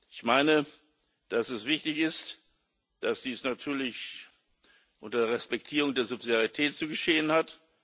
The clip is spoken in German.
Ich meine, dass es wichtig ist, dass dies natürlich unter Respektierung der Subsidiarität zu geschehen hat.